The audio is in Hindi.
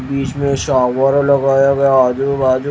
बीच में शावर लगाया गया आजू बाजू--